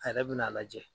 A yɛrɛ bɛn'a lajɛ